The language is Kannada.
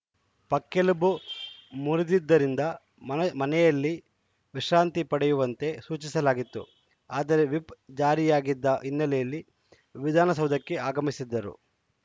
ಪಕ್ಕೆಲುಬು ಮುರಿದಿದ್ದರಿಂದ ಮನೆ ಮನೆಯಲ್ಲೇ ವಿಶ್ರಾಂತಿ ಪಡೆಯುವಂತೆ ಸೂಚಿಸಲಾಗಿತ್ತು ಆದರೆ ವಿಪ್‌ ಜಾರಿಯಾಗಿದ್ದ ಹಿನ್ನೆಲೆಯಲ್ಲಿ ವಿಧಾನಸೌಧಕ್ಕೆ ಆಗಮಿಸಿದ್ದರು